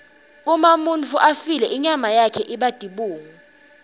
uma umuntfu afile inyama yakhe iba tibungu